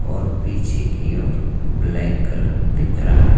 और पीछे की ओर ब्लैक कलर दिख रहा है।